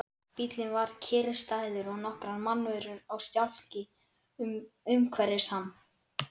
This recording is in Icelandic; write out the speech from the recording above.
Bíllinn var kyrrstæður og nokkrar mannverur á stjákli umhverfis hann.